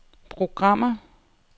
programmer